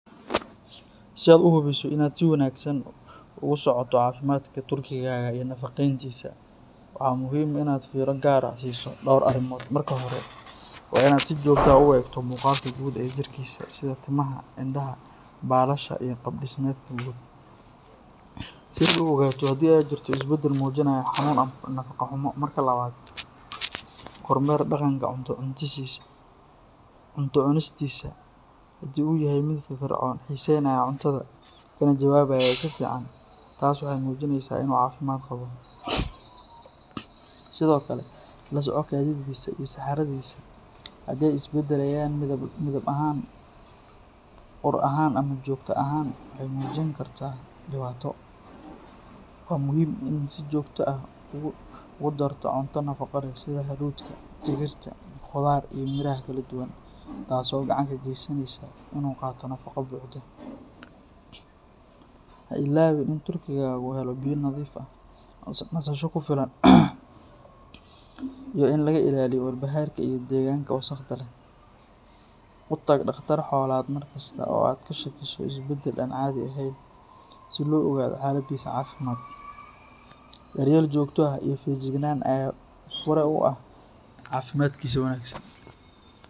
Si aad u hubiso inaad si wanaagsan ugu socoto caafimaadka turkigaaga iyo nafaqeyntiisa, waxaa muhiim ah inaad fiiro gaar ah siiso dhowr arrimood. Marka hore, waa in aad si joogto ah u eegto muuqaalka guud ee jirkiisa sida timaha, indhaha, baalasha iyo qaab-dhismeedka guud, si aad u ogaato haddii ay jirto isbedel muujinaya xanuun ama nafaqo-xumo. Marka labaad, kormeer dhaqanka cunto cunistiisa, haddii uu yahay mid firfircoon, xiiseynaya cuntada, kana jawaabaya si fiican, taas waxay muujinaysaa inuu caafimaad qabo. Sidoo kale, la soco kaadidiisa iyo saxaradiisa, haddii ay isbedelayaan midab ahaan, ur ahaan ama joogta ahaan, waxay muujin kartaa dhibaato. Waa muhiim in aad si joogto ah ugu darto cunto nafaqo leh sida hadhuudhka, digirta, khudaar iyo miraha kala duwan, taas oo gacan ka geysanaysa inuu qaato nafaqo buuxda. Ha ilaawin in turkigaagu helo biyo nadiif ah, nasasho ku filan, iyo in laga ilaaliyo walbahaarka iyo deegaanka wasakhda leh. U tag dhakhtar xoolaad mar kasta oo aad ka shakiso isbedel aan caadi ahayn, si loo ogaado xaaladdiisa caafimaad. Daryeel joogto ah iyo feejignaan ayaa fure u ah caafimaadkiisa wanaagsan.